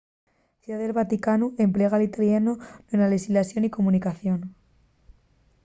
ciudá del vaticanu emplega l'italianu na so llexislación y comunicación